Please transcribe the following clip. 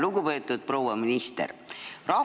Lugupeetud proua minister!